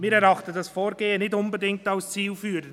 Wir erachten dieses Vorgehen nicht unbedingt als zielführend.